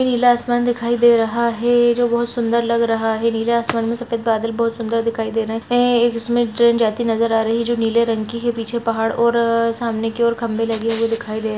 नीला आसमान दिखाई दे रहा है जो बहुत सुन्दर लग रहा है नीला आसमान में सफ़ेद बादल बहुत सुंदर दिखाई दे रहा है एक इसमें ट्रैन जाते हुए नजर आ रहा है नीले रंग की है पीछे पहाड़ और सामने की ओर खम्बे लगे हुए दिखाई दे रहे --